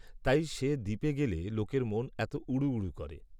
তাই সে দ্বীপে গেলে লোকের মন এত উড়ু উড়ু করে